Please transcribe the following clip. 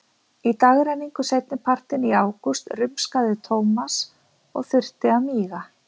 Í dagrenningu seinnipartinn í ágúst rumskaði Thomas og þurfti að míga.